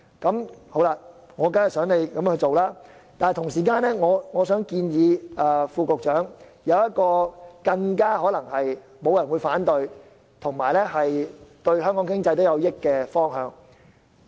我當然希望政府這樣做，但同時我想建議副局長採納一項沒人反對且對香港經濟有益的措施。